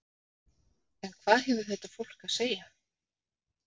En hvað hefur þetta fólk að segja?